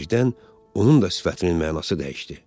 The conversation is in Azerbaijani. Birdən onun da sifətinin mənası dəyişdi.